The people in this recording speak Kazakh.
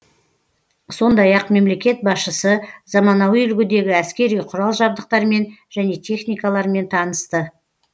сондай ақ мемлекет басшысы заманауи үлгідегі әскери құрал жабдықтармен және техникалармен танысты